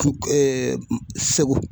Segu.